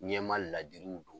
Ɲɛmaa ladiriw don.